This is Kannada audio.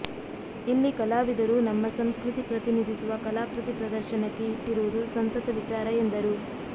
ಇಲ್ಲಿ ಕಲಾವಿದರು ನಮ್ಮ ಸಂಸ್ಕೃತಿ ಪ್ರತಿನಿಧಿಸುವ ಕಲಾಕೃತಿ ಪ್ರದರ್ಶನಕ್ಕೆ ಇಟ್ಟಿರುವುದು ಸಂತತ ವಿಚಾರ ಎಂದರು